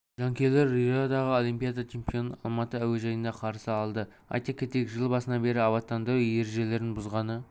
жанкүйерлер риодағы олимпиада чемпионын алматы әуежайында қарсы алды айта кетейік жыл басынан бері абаттандыру ережелерін бұзғаны